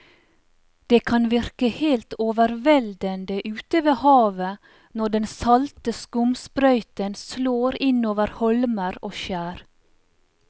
Det kan virke helt overveldende ute ved havet når den salte skumsprøyten slår innover holmer og skjær.